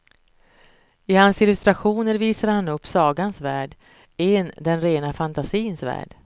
I hans illustrationer visade han upp sagans värld, en den rena fantasins värld.